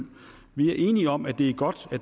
vi er enige om at det er godt at